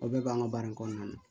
O bɛɛ b'an ka baara in kɔnɔna na